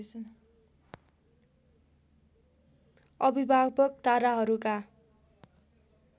अभिभावक ताराहरूका